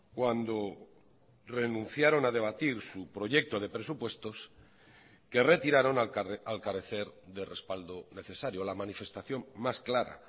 cuando renunciaron a debatir su proyecto de presupuestos que retiraron al carecer de respaldo necesario la manifestación más clara